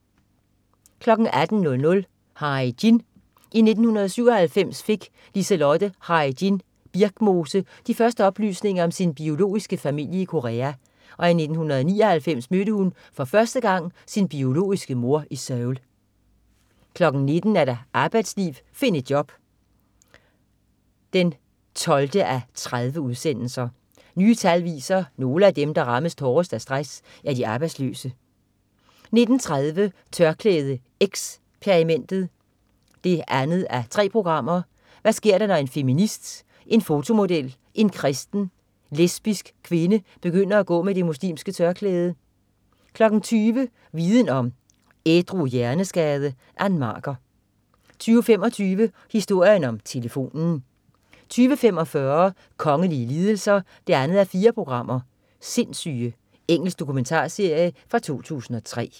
18.00 Hae-Jin. I 1997 fik Liselotte Hae-Jin Birkmose de første oplysninger om sin biologiske familie i Korea, og i 1999 mødte hun første gang sin biologiske mor i Seoul 19.00 Arbejdsliv find et job 12:30. Nye tal viser, nogle af dem, der rammes hårdest af stress, er de arbejdsløse 19.30 TørklædeXperimentet 2:3. Hvad sker der når en feminist, en fotomodel og en kristen, lesbisk kvinde begynder at gå med det muslimske tørklæde? 20.00 Viden Om: Ædru hjerneskade. Ann Marker 20.25 Historien om telefonen 20.45 Kongelige lidelser 2:4. "Sindssyge". Engelsk dokumentarserie fra 2003